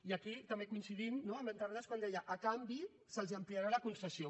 i aquí també coincidim no amb en terrades quan deia a canvi se’ls ampliarà la concessió